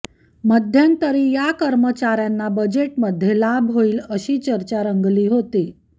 मध्यंतरी या कर्मचाऱ्यांना बजेटमध्ये लाभ होईल अशी चर्चा रंगली होती